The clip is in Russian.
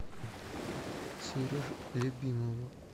сереже любимову